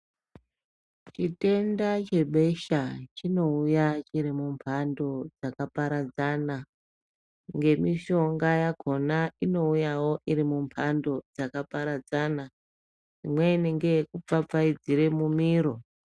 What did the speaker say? Chitenda chebesha chinouya chiri mumhando dzakaparadzana nemitombo yakhona inouyawo iri mumhando dzakaparadzana imweni ngeyeku pfapfaidzira mumiro.